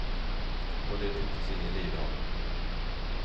Och det tycktes ingen lida av.